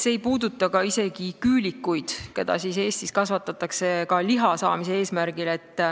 See ei puuduta isegi küülikuid, keda Eestis kasvatatakse ka liha saamise eesmärgil.